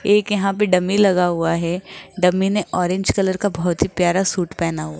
एक यहां पे डमी लगा हुआ है डमी ने ऑरेंज कलर का बहोत ही प्यारा सूट पहना हु--